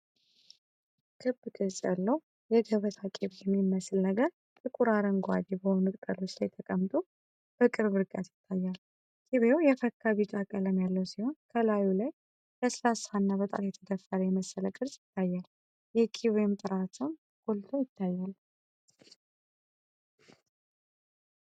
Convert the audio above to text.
ክብ ቅርጽ ያለው የገበታ ቅቤ የሚመስል ነገር ጥቁር አረንጓዴ በሆኑ ቅጠሎች ላይ ተቀምጦ በቅርብ ርቀት ይታያል። ቅቤው የፈካ ቢጫ ቀለም ያለው ሲሆን፣ በላዩ ላይ ለስላሳና በጣት የተደፈረ የመሰለ ቅርጽ ይታያል፤ የቅቤው ጥራትም ጎልቶ ይታያል።